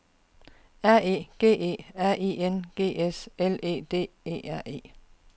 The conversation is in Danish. R E G E R I N G S L E D E R E